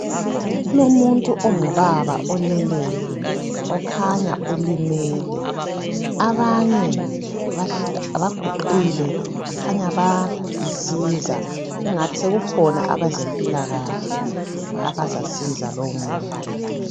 Kulomuntu ongubaba oleleyo okhanya ulimele abanye abaguqile kukhanya bayamsiza kungathi sekukhona abezempilakahle abazamsiza lowo muntu